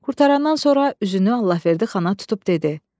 Qurtarandan sonra üzünü Allahverdi xana tutub dedi: